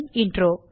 தமிழாக்கம் பிரியா